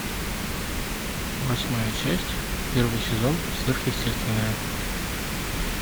восьмая часть первый сезон сверхъестественное